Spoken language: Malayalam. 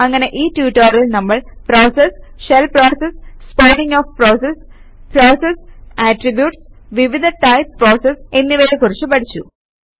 അങ്ങനെ ഈ ട്യൂട്ടോറിയലിൽ നമ്മൾ process shell process spawning of process process attributes വിവിധ ടൈപ് പ്രോസസസ് എന്നിവയെ കുറിച്ച് പഠിച്ചു